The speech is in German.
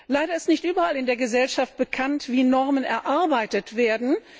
Leider ist nicht überall in der Gesellschaft bekannt, wie Normen erarbeitet werden.